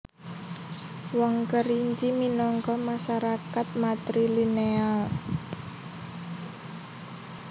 Wong Kerinci minangka masarakat matrilineal